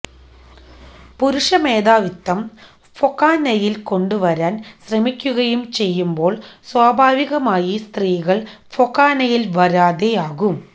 പുരുഷമേധാവിത്വം ഫൊക്കാനയിൽ കൊണ്ടുവരാൻ ശ്രമിക്കുകയും ചെയ്യുമ്പോൾ സ്വാഭാവികമായി സ്ത്രീകൾ ഫൊക്കാനയിൽ വരാതെ ആകും